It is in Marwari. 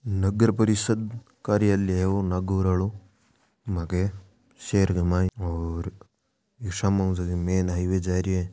नगर परिषद कार्यालय है ओ नागौर आलो मांके शहर के मायने और इक सामऊ जको मैन हाईवे जा रहियो है।